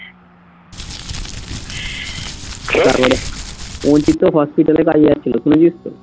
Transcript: রুচিত তো হসপিটাল এ কাজে যাচ্ছিলো শুনেছিস তো?